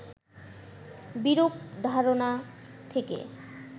বিরূপ ধারণা থেকে